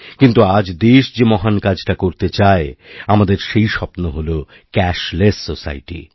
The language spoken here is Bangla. কিন্তু আজ দেশ যে মহান কাজটাকরতে চায় আমাদের সেই স্বপ্ন হল ক্যাশলেস সোসাইটি